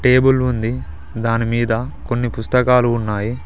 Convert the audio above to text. Table ఉంది దాని మీద కొన్ని పుస్తకాలు ఉన్నాయి.